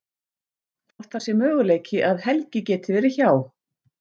Hvort það sé möguleiki að Helgi geti verið hjá.